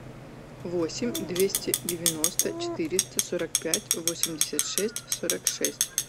восемь двести девяносто четыреста сорок пять восемьдесят шесть сорок шесть